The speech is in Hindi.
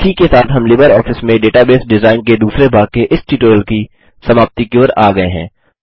इसी के साथ हम लिबरऑफिस में डेटाबेस डिजाइन के दूसरे भाग के इस ट्यूटोरियल की समाप्ति की ओर आ गये हैं